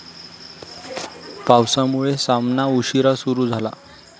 पावसामुळे सामना उशिरा सुरू झाला